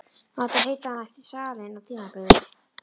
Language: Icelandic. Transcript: Mátti heita að hann ætti salinn á tímabili.